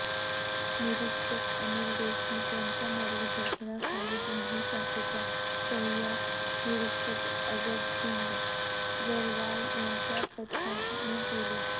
निरीक्षक अनिल देशमुख यांच्या मार्गदर्शनाखाली गुन्हे शाखेच्या सहाय्यक निरीक्षक अजबसिंग जारवाल यांच्या पथकाने केली